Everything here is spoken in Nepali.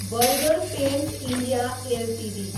burger paints India Ltd